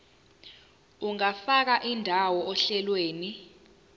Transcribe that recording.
ungafaka indawo ohlelweni